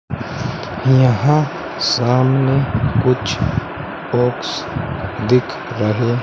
यहां सामने कुछ बॉक्स दिख रहे --